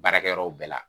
Baarakɛyɔrɔ bɛɛ la